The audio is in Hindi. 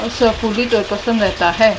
रहता है।